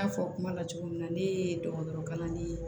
N y'a fɔ kuma la cogo min na ne ye dɔgɔtɔrɔ kalanden ye